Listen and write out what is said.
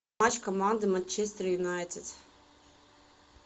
матч команды манчестер юнайтед